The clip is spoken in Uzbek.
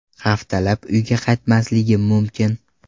Haftalab uyga qaytmasligim mumkin.